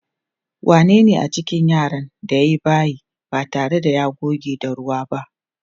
Wanene a cikin yaran da ya yi bayi ba tare da ya goge da ruwa ba?